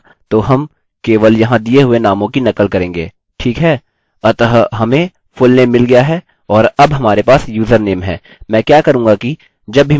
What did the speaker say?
अतः हमें fullname मिल गया है और अब हमारे पास username है